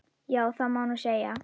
Já, það má nú segja.